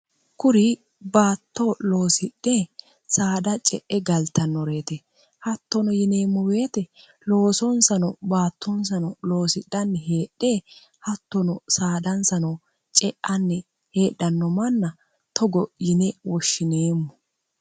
kuri baattoo loosidhe saadha ce'e galtannoreete hattono yineemmuweeti loosoonsano baattoonsano loosidhanni heedhe hattono saadansano ce'anni heedhanno manna togo yine woshshineemmo